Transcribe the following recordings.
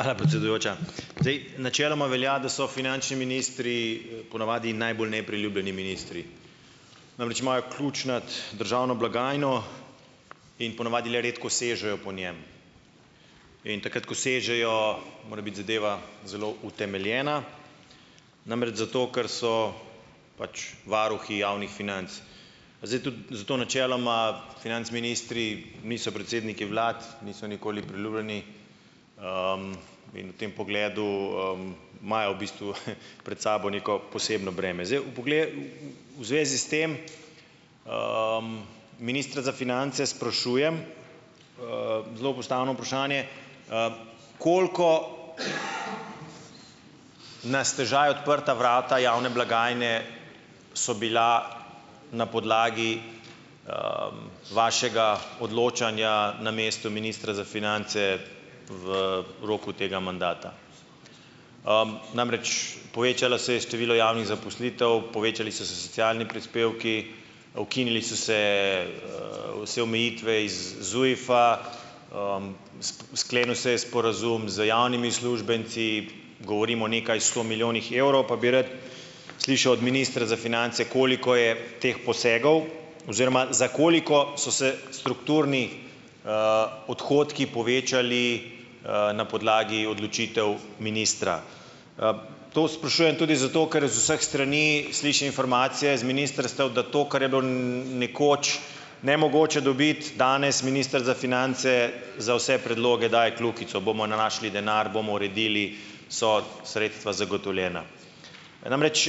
Hvala, predsedujoča. Zdaj, načeloma velja, da so finančni ministri, po navadi najbolj nepriljubljeni ministri. Namreč, imajo ključ nad državno blagajno in po navadi le redko sežejo po njem, in takrat, ko sežejo, mora biti zadeva zelo utemeljena, namreč zato, ker so pač varuhi javnih financ. Zdaj tudi zato načeloma "financ" ministri niso predsedniki vlad, niso nikoli priljubljeni, in v tem pogledu, imajo v bistvu, pred sabo neko posebno breme. Zdaj v pogle, u, u, v zvezi s tem, ministra za finance sprašujem, zelo postavno vprašanje - koliko na stežaj odprta vrata javne blagajne so bila na podlagi, vašega odločanja na mestu ministra za finance, v roku tega mandata? Namreč, povečalo se je število javnih zaposlitev, povečali so se socialni prispevki, ukinili so se, vse omejitve iz ZUJF-a, sklenil se je sporazum z javnimi uslužbenci - govorim o nekaj sto milijonih evrov - pa bi rad slišal od ministra za finance, koliko je teh posegov oziroma za koliko so se strukturni, odhodki povečali, na podlagi odločitev ministra? To sprašujem tudi zato, ker iz vseh strani slišim informacije z ministrstev, da to, kar je bilo, nekoč, nemogoče dobiti, danes minister za finance za vse predloge daje kljukico - bomo našli denar, bomo uredili, so sredstva zagotovljena. Namreč,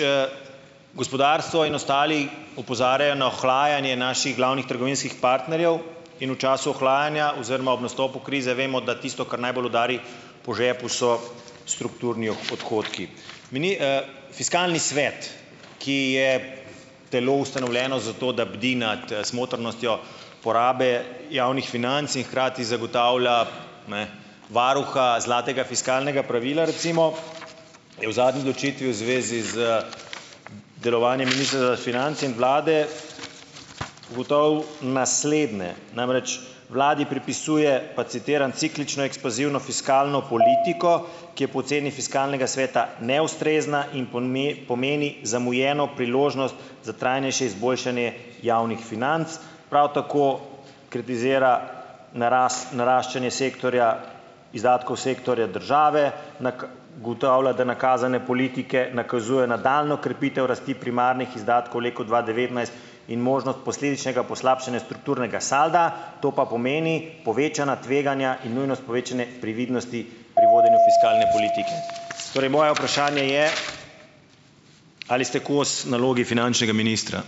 gospodarstvo in ostali opozarjajo na ohlajanje naših glavnih trgovinskih partnerjev in v času ohlajanja oziroma ob nastopu krize vemo, da tisto, kar najbolj udari po žepu, so strukturni odhodki. Mini, fiskalni svet, ki je telo , ustanovljeno za to, da bdi nad, smotrnostjo porabe javnih financ in hkrati zagotavlja, ne, varuha zlatega fiskalnega pravila recimo, je v zadnji odločitvi v zvezi z d, delovanjem Ministrstva za finance in vlade ugotovil naslednje, namreč vladi pripisuje, pa citiram: "Ciklično ekspanzivno fiskalno politiko, ki je po oceni Fiskalnega sveta neustrezna in pomeni zamujeno priložnost za trajnejše izboljšanje javnih financ. Prav tako kritizira naraščanje sektorja, izdatkov Sektorja države. ... Ugotavlja, da nakazane politike nakazujejo nadaljnjo krepitev rasti primarnih izdatkov v letu dva devetnajst in možnost posledičnega poslabšanja strukturnega salda, to pa pomeni povečana tveganja in nujnost povečanja previdnosti pri vodenju fiskalne politike. Torej moje vprašanje je, ali ste kos nalogi finančnega ministra?